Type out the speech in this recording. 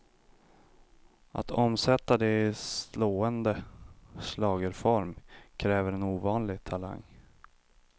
Att omsätta det i slående schlagerform kräver en ovanlig talang.